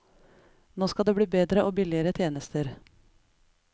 Nå skal det bli bedre og billigere tjenester.